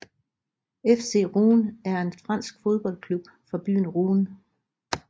FC Rouen er en fransk fodboldklub fra byen Rouen